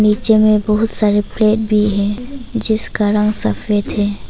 में बहुत सारे प्लेट भी है जिसका रंग सफेद है।